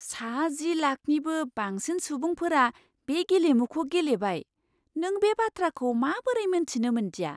सा जि लाखनिबो बांसिन सुबुंफोरा बे गेलेमुखौ गेलेबाय। नों बे बाथ्राखौ माबोरै मिन्थिनो मोन्दिया?